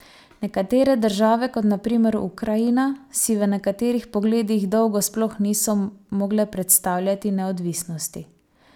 Nekatere države, kot na primer Ukrajina, si v nekaterih pogledih dolgo sploh niso mogle predstavljati neodvisnosti.